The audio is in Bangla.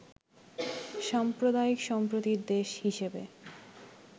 সাম্প্রদায়িক সম্প্রীতির দেশ হিসেবে